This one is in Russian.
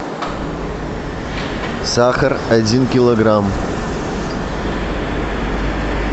сахар один килограмм